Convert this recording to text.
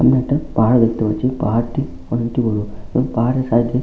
সামনে একটা পাহাড় দেখতে পাচ্ছি পাহাড়টি অনেকটি বড় এবং পাহাড়ের সাইড এ --